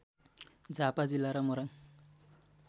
झापा जिल्ला र मोरङ